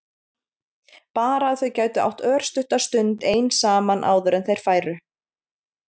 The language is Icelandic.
Bara að þau gætu átt örstutta stund ein saman áður en þeir færu.